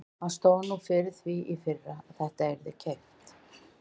Hann stóð nú fyrir því í fyrra að þetta yrði keypt.